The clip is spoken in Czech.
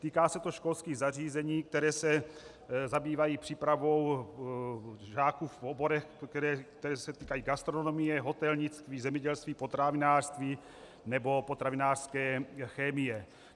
Týká se to školských zařízení, která se zabývají přípravou žáků v oborech, které se týkají gastronomie, hotelnictví, zemědělství, potravinářství nebo potravinářské chemie.